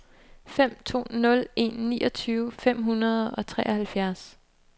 fem to nul en niogtyve fem hundrede og treoghalvfjerds